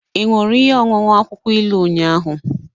Ị ṅụrụ ihe ọṅụṅụ akwụkwọ ilu ụnyahụ?